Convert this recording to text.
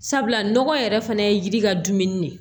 Sabula nɔgɔ yɛrɛ fana ye yiri ka dumuni de ye